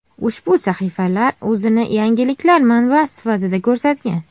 Ushbu sahifalar o‘zini yangiliklar manbasi sifatida ko‘rsatgan.